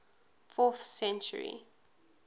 fourth century